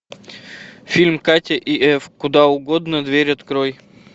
фильм катя и эф куда угодно дверь открой